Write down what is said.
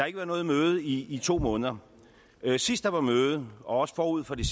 ikke været noget møde i i to måneder sidst der var møde og også forud for det